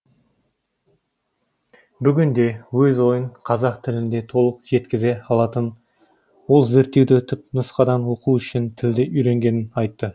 бүгінде өз ойын қазақ тілінде толық жеткізе алатын ол зерттеуді түпнұсқадан оқу үшін тілді үйренгенін айтты